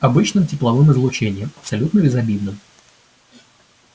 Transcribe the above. обычным тепловым излучением абсолютно безобидным